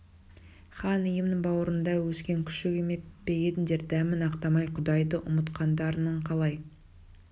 хан иемнің бауырында өскен күшік еме пе едіңдер дәмін ақтамай құдайды ұмытқандарың қалай